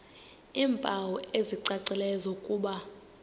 iimpawu ezicacileyo zokuba